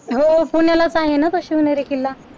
हो पुण्यालाच आहे ना तो शिवनेरी किल्ला.